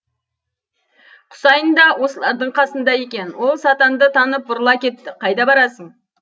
құсайын да осылардың қасында екен ол сатанды танып бұрыла кетті қайда барасың